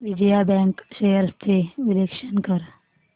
Vijaya bank shares चे विश्लेषण कर